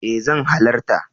E zan halarta.